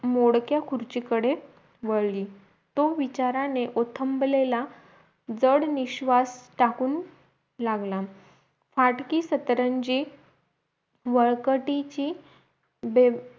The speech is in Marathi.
मोडक्या खुर्चीकडे वळली तो विचारांने उथंबलेल्या जड निश्वास टाकून लागला फाटकी सतरंजी वळकटीची दोन